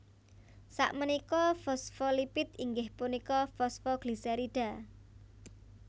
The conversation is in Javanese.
Sakménika fosfolipid inggih punika fosfoglisèrida